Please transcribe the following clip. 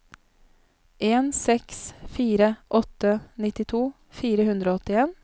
en seks fire åtte nittito fire hundre og åttien